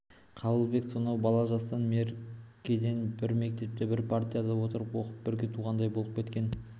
қабылбекпен сонау бала жастан меркеден бір мектепте бір партада отырып оқып бірге туғандай болып кеткен